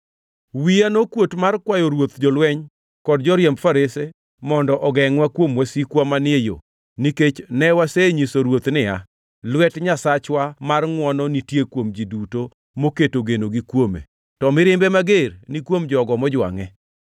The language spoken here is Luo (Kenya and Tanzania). Wiya nokuot mar kwayo ruodh jolweny kod joriemb farese mondo ogengʼwa kuom wasikwa manie yo, nikech ne wasenyiso ruoth niya, “Lwet Nyasachwa mar ngʼwono nitie kuom ji duto moketo genogi kuome, to mirimbe mager ni kuom jogo mojwangʼe.”